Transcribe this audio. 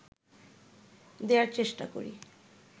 দেয়ার চেষ্টা করি